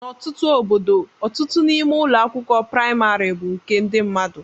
N'ọtụtụ obodo, ọtụtụ n'ime ụlọ akwụkwọ praịmarị bụ nke ndị mmadụ.